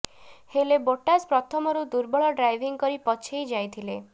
ହେଲେ ବୋଟାସ୍ ପ୍ରଥମରୁ ଦୁର୍ବଳ ଡ୍ରାଇଭିଂ କରି ପଛେଇ ଯାଇଥିଲେ